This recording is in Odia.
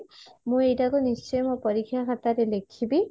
ମୁଁ ଏଇଟା କୁ ନିଶ୍ଚିନ୍ତ ମୋ ପରୀକ୍ଷା ଖାତାରେ ଲେଖିବୀ